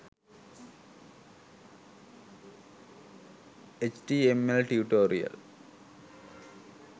html tutorial